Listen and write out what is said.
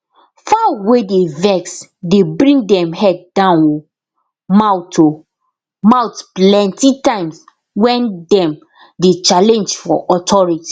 fowl wey dey vex dey bring dem head down o mouth o mouth plenty times wen dem dey challenge for authority